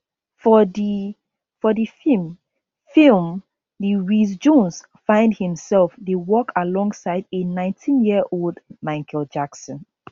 for di for di feem film di wiz jones find imself dey work alongside a nineteen year old michael jackson